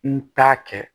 N t'a kɛ